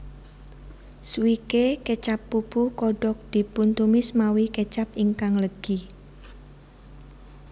Swike kecap pupu kodok dipuntumis mawi kecap ingkang legi